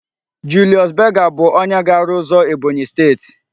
Julius Berger bu onye ga-aru uzo Ebonyi steeti